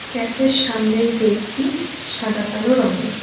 ক্যাফের সামনের গেটটি সাদা কালো রঙের।